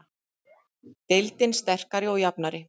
Deildin sterkari og jafnari